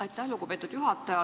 Aitäh, lugupeetud juhataja!